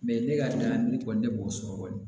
ne ka ne kɔni ne b'o sɔrɔ kɔni